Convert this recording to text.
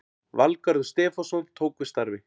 Valgarður Stefánsson tók við starfi